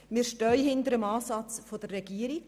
Wir stehen hinter dem Ansatz der Regierung.